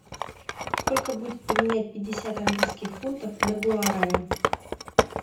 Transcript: сколько будет поменять пятьдесят английских фунтов на гуарани